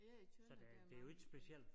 Ja i Tønder der er mange brune